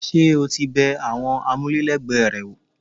Ṣé o ti bẹ àwọn amule lẹgbẹ rẹ wò?